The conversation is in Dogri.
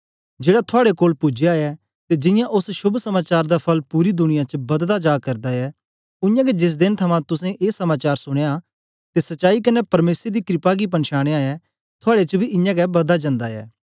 जेड़ा थुआड़े कोल पूजया ऐ ते जियां ओस शोभ समाचार दा फल पूरी दुनिया च बददा जा करदा ऐ उयांगै जेस देन थमां तुसें ए समाचार सुनयां ते सच्चाई कन्ने परमेसर दी क्रपा गी पंछानया ऐ थुआड़े च बी इयां गै बददा जन्दा ऐ